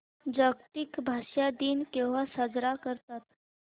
जागतिक भाषा दिन केव्हा साजरा करतात